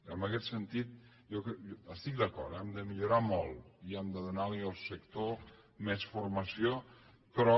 en aguest sentit hi estic d’acord eh hem de millorar molt i hem de donar li al sector més formació però